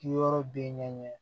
Ki yɔrɔ bɛ ɲɛ